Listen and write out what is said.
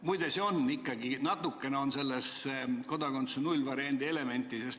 Muide natukene on selles ikkagi kodakondsuse nullvariandi elementi.